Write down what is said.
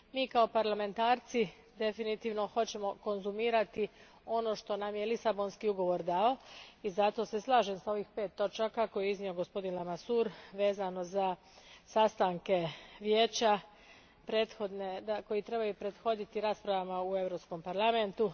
Mi kao parlamentarci definitivno hoćemo konzumirati ono što nam je Lisabonski ugovor dao i zato se slažem s ovih pet točaka koje je iznio gospodin Lamasourre vezano za sastanke Vijeća koji trebaju prethoditi raspravama u Europskom parlamentu.